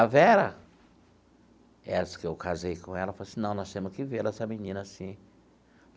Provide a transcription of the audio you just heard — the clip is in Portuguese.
A Vera, essa que eu casei com ela, falou assim, não, nós temos que ver essa menina assim.